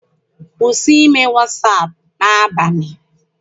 Kwụsị ime wasaapụ n'abalị!